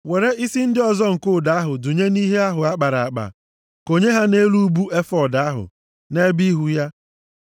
were isi ndị ọzọ nke ụdọ ahụ dụnye nʼihe ahụ a kpara akpa, konye ha nʼelu ubu efọọd ahụ, nʼebe ihu ya.